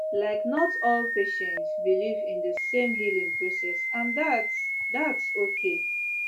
like not all patients believe in the same healing process and thats thats okay